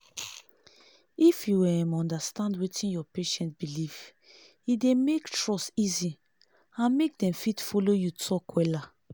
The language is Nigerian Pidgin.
if u um understand wetin your patient belief e dey make trust easy and mk dem fit follow you talk wella